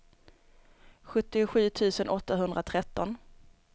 sjuttiosju tusen åttahundratretton